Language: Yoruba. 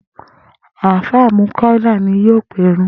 Àfáà Múkáílà ni yóò pèrun